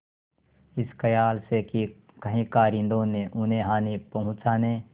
इस खयाल से कि कहीं कारिंदों ने उन्हें हानि पहुँचाने